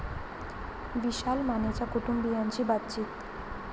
विशाल मानेच्या कुटुंबीयांशी बातचित